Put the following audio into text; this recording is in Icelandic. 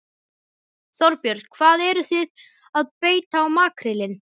Þorbjörn: Hvað eruð þið að beita á makrílinn?